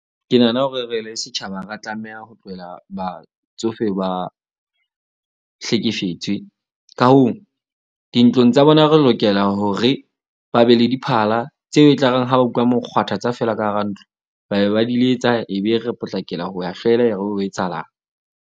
Ke nahana hore re le setjhaba, ra tlameha ho tlohela batsofe, ba hlekefetswe. Ka hoo, dintlong tsa bona re lokela hore ba be le diphala tseo e tlareng ha ba utlwa mokgwathatsa fela ka hara ntlo, ba be ba di letsa. Ebe re potlakela ho ya hlwela hore etsahalang.